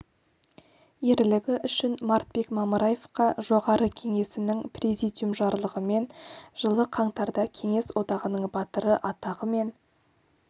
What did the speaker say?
ерлігі үшін мартбек мамыраевқа жоғары кеңесінің президиум жарлығымен жылы қаңтарда кеңес одағының батыры атағы мен